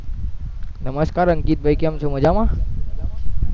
નમસ્કાર અંકિતભાઈ કેમ છો? મજામા